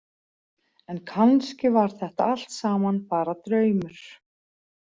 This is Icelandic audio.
En kannski var þetta allt saman bara draumur.